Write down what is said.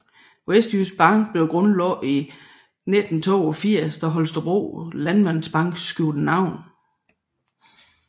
Vestjysk Bank blev grundlagt i 1982 da Holstebro Landmandsbank skiftede navn